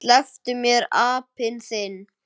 SLEPPTU MÉR, APINN ÞINN!